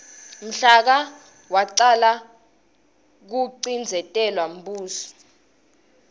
mhla ka wacala kucindzetelwa umbuso